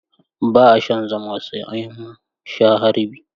Ba'a shan zuma sai an sha harbi.